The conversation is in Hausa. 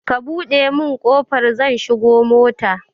Ka buɗe min kofa zan shigo da mota